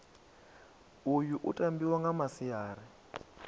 uyu u tambiwa nga masiari